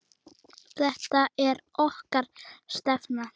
Þetta er okkar stefna.